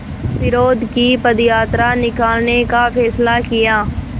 विरोध की पदयात्रा निकालने का फ़ैसला किया